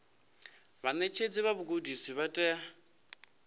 vhaṋetshedzi vha vhugudisi vha tea